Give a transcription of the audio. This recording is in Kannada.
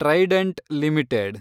trident limited